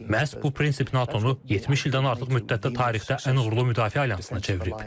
Məhz bu prinsip NATO-nu 70 ildən artıq müddətdə tarixdə ən uğurlu müdafiə alyansına çevirib.